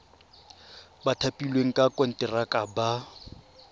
ba thapilweng ka konteraka ba